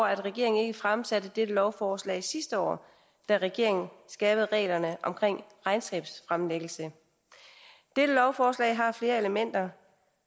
at regeringen ikke fremsatte dette lovforslag sidste år da regeringen skærpede reglerne omkring regnskabsfremlæggelse dette lovforslag har flere elementer